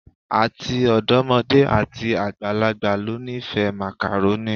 Ati ọdọmode ati agbalagba lo nifẹ Macaroni